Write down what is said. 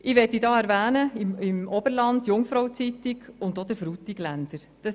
Ich möchte hier beispielsweise aus dem Oberland die «Jungfrau Zeitung» und den «Frutigländer» erwähnen.